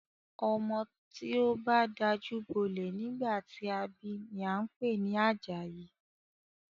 Ọmọ tí o bá dajú bolẹ̀ nígbà tí a bi ni a ń pè ní Àjàyí.